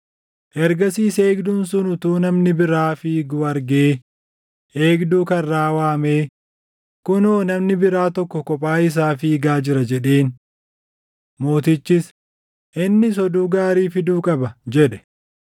Ergasiis eegduun sun utuu namni biraa fiiguu argee eegduu karraa waamee, “Kunoo namni biraa tokko kophaa isaa fiigaa jira!” jedheen. Mootichis, “Innis oduu gaarii fiduu qaba” jedhe.